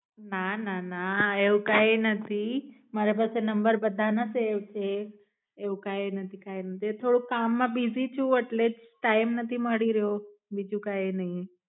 ના ના ના એવું કે નથી મારી પાસે નંબર બધાના સેવ છે એવું કાય નથી કાય નથી અરે થોડું કામ માં બિજી છુ એટલે ટાઈમ નથી મળી રહ્યો, બીજુ કાય નઈ.